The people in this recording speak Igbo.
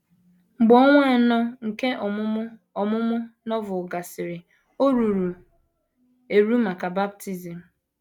Mgbe ọnwa anọ nke ọmụmụ ọmụmụ Novel gasịrị, o ruru eru maka baptism.